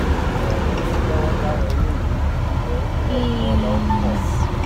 ẹwọn ń ṣèwọ sáwọn eléyìí ilẹ onílẹ ni wọn lọọ fọ